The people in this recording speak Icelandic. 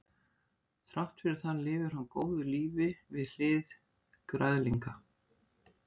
þrátt fyrir það lifir það góðu lífi við hlið græðlinga